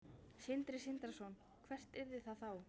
Sindri Sindrason: Hvert yrði það þá?